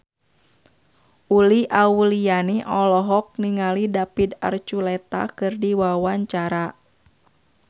Uli Auliani olohok ningali David Archuletta keur diwawancara